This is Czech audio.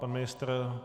Pan ministr?